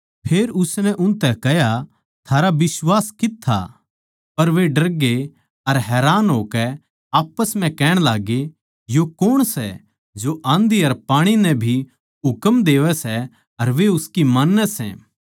फेर उसनै उनतै कह्या थारा बिश्वास कित्त था पर वे डरगे अर हैरान होकै आप्पस म्ह कहण लाग्गे यो कौण सै जो आँधी अर पाणी नै भी हुकम देवै सै अर वे उसकी मान्नैं सै